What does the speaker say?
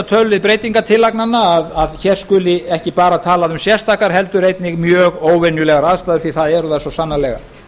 tölulið breytingartillagnanna að hér skuli ekki bara talað um sérstakar heldur einnig mjög óvenjulegar aðstæður því að það eru þær svo sannarlega